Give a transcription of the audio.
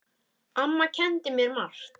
Amma kenndi mér margt.